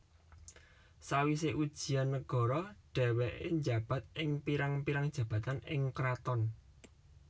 Sawise ujian nagara dheweke njabat ing pirang pirang jabatan ing kraton